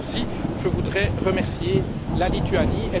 Là aussi, je voudrais remercier la Lituanie.